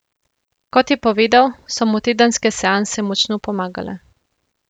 Kot je povedal, so mu tedenske seanse močno pomagale.